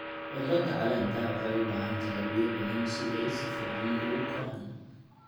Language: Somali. Khudradda caleenta waxay u baahan tahay biyo badan si ay si fiican ugu koraan.